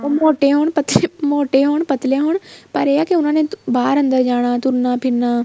ਉਹ ਮੋਟੋ ਹੋਣ ਮੋਟੋ ਹੋਣ ਪੱਤਲੇ ਹੋਣ ਪਰ ਏ ਆ ਕੇ ਉਹਨਾ ਨੇ ਬਾਹਰ ਅੰਦਰ ਜਾਣਾ ਤੁਰਨਾ ਫਿਰਨਾ